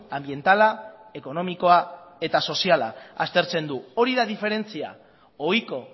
anbientala ekonomikoa eta soziala aztertzen du hori da diferentzia ohiko